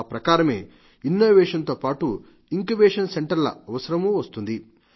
ఆ ప్రకారమే ఇన్నోవేషన్ తో పాటు ఇంక్యుబేషన్ సెంటర్ ల అవసరమూ వస్తుంది